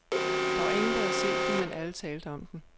Der var ingen der havde set den, men alle talte om den.